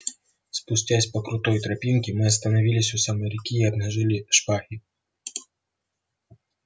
спустясь по крутой тропинке мы остановились у самой реки и обнажили шпаги